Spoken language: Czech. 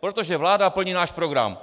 protože vláda plní náš program.